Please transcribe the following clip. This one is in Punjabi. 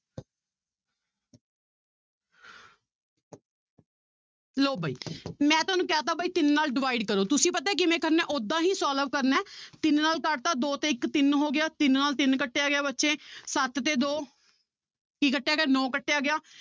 ਲਓ ਬਾਈ ਮੈਂ ਤੁਹਾਨੂੰ ਕਹਿ ਦਿੱਤਾ ਬਾਈ ਤਿੰਨ ਨਾਲ divide ਕਰੋ ਤੁਸੀਂ ਪਤਾ ਹੈ ਕਿਵੇਂ ਕਰਨਾ ਹੈ ਓਦਾਂ ਹੀ solve ਕਰਨਾ ਹੈ ਤਿੰਨ ਨਾਲ ਕੱਟ ਦਿੱਤਾ ਦੋ ਤੇ ਇੱਕ ਤਿੰਨ ਹੋ ਗਿਆ ਤਿੰਨ ਨਾਲ ਤਿੰਨ ਕੱਟਿਆ ਗਿਆ ਬੱਚੇ ਸੱਤ ਤੇ ਦੋ ਕੀ ਕੱਟਿਆ ਗਿਆ ਨੋਂ ਕੱਟਿਆ ਗਿਆ